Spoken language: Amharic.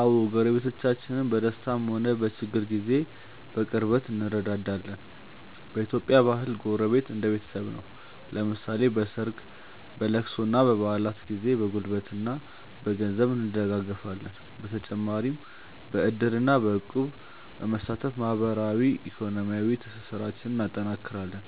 አዎ፣ ጎረቤቶቻችን በደስታም ሆነ በችግር ጊዜ በቅርበት እንረዳዳለን። በኢትዮጵያ ባህል ጎረቤት እንደ ቤተሰብ ነው፤ ለምሳሌ በሰርግ፣ በልቅሶና በበዓላት ጊዜ በጉልበትና በገንዘብ እንደጋገፋለን። በተጨማሪም በዕድርና በእቁብ በመሳተፍ ማህበራዊና ኢኮኖሚያዊ ትስስራችንን እናጠናክራለን።